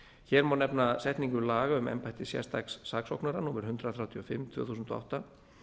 hér má nefna setningu laga um embætti sérstaks saksóknara númer hundrað þrjátíu og fimm tvö þúsund og átta